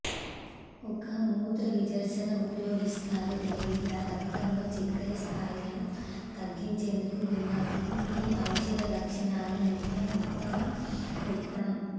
ఒక మూత్రవిసర్జన ఉపయోగిస్తారు లేదా రక్తంలో చక్కెర స్థాయిలను తగ్గించేందుకు ఉన్నప్పుడు ఈ ఔషధ లక్షణాలు నిత్యం ఉత్తమ వ్యక్తం